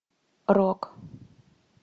рок